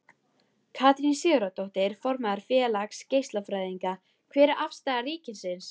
Katrín Sigurðardóttir, formaður Félags geislafræðinga: Hver er afstaða ríkisins?